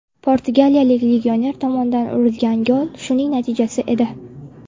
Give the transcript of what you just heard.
Portugaliyalik legioner tomonidan urilgan gol shuning natijasi edi.